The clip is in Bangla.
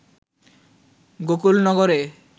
গোকুল নগরে